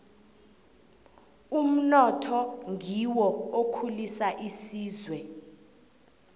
umnotho ngiwo okhulisa isizwe